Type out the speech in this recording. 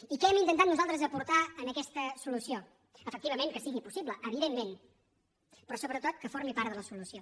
i què hem intentat nosaltres aportar a aquesta solució efectivament que sigui possible evidentment però sobretot que formi part de la solució